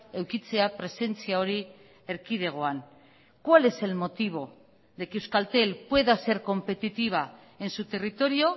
edukitzea presentzia hori erkidegoan cuál es el motivo de que euskaltel pueda ser competitiva en su territorio